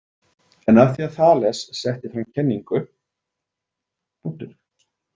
En af því að Þales setti fram kenningu.